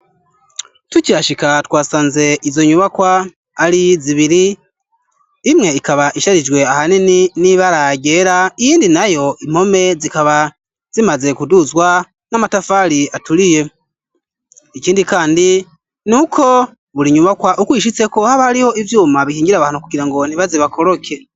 tukihashika twasanze izo nyubakwa ari zibiri imwe ikaba isharijwe ahanini n'ibara vyagera iyindi nayo impome zikaba zimaze kuduzwa n'amatafari aturiye ikindi kandi ni uko buri nyubakwa ukwishitse ko haba ariho ibyuma bihingire abantu kugira ngo ntiba zibakoroke.